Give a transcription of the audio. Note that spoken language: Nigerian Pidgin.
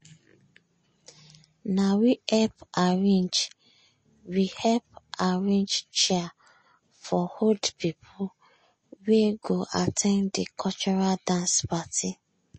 na we help arrange we help arrange chair for old pipu wey go at ten d de cultural dance parti.